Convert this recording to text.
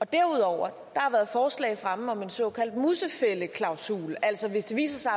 derudover har der været forslag fremme om en såkaldt musefældeklausul altså hvis det viser